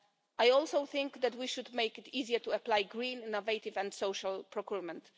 I also think that we should make it easier to apply green, innovative and social procurement.